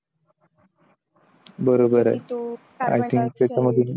बरोबर आहे.